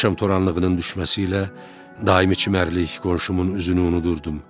Axşam toranlığının düşməsi ilə daimi çimərlik qonşumun üzünü unudurdum.